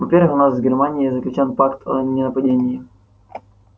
во-первых у нас с германией заключён пакт о ненападении